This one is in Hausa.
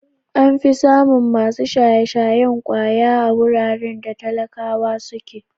An fi samun masu shaye-shayen ƙwaya a wuraren da talakawa suke.